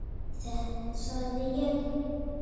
Þetta sagði ég.